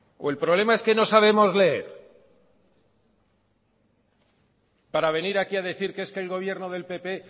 o el problema es que no sabemos leer para venir aquí a decir que es que el gobierno del pp